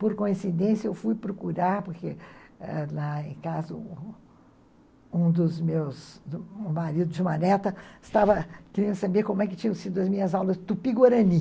Por coincidência, eu fui procurar, porque ãh lá em casa, um um dos meus, um marido de uma neta, estava querendo saber como é que tinham sido as minhas aulas tupi-guarani.